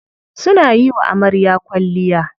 Suna yiwa amarya kwalliya.